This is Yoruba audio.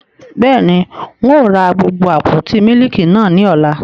Bẹ́ẹ̀ni, Ń ó ra gbogbo àpótí mílíkì náà ni ọ́la.